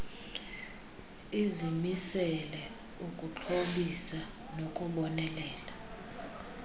izimisele ukuxhobisa nokubonelela